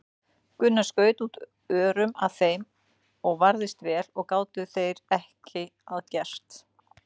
Gunnar skaut út örum að þeim og varðist vel og gátu þeir ekki að gert.